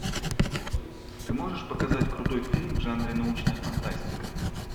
ты можешь показать крутой фильм в жанре научная фантастика